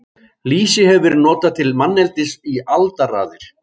Lýsi hefur verið notað til manneldis í aldaraðir.